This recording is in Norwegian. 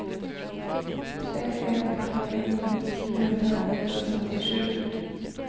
tre en fem en tjue fem hundre og trettisju